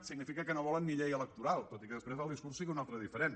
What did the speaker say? significa que no volen ni llei electoral tot i que després el discurs és un altre de diferent